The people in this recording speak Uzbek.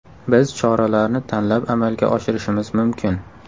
Biz choralarni tanlab amalga oshirishimiz mumkin.